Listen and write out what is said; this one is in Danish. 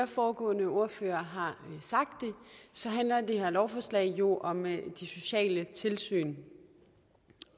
foregående ordførere har sagt handler det her lovforslag jo om de sociale tilsyn